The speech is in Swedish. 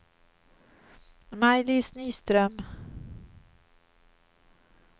Maj-Lis Nyström